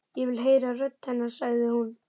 Ég vil heyra rödd hennar, sagði hún.